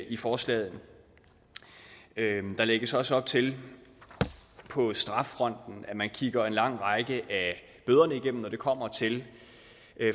i forslaget der lægges også op til at man på straffronten kigger en lang række af bøderne igennem når det kommer til